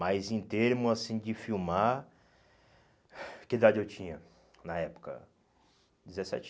Mas em termos assim de filmar, que idade eu tinha na época? Dezessete